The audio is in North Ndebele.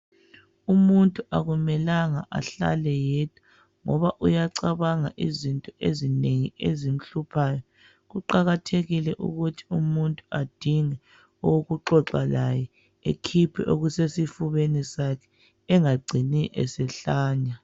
umuntu akumelanga ahlale yedwa ngoba uyacabanga izinto ezinengi ezimhluphayo kuqakathekile ukuthi umuntu adinge owokuxoxa laye akhiphe okusesifubeni engagcini esehlanya